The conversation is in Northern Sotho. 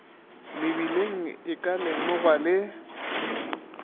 mebileng e ka lemogwa le